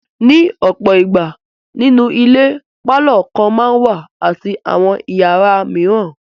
Ní ọ̀pọ̀ ìgbà, nínú ilé pálọ̀ kan máa ń wà àti àwọn ìyàrá mìíràn.